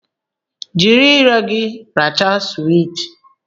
Jiri ire gị rachaa suwiti!